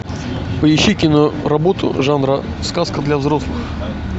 поищи киноработу жанра сказка для взрослых